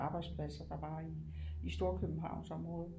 Arbejdspladser der var i Storkøbenhavnsområdet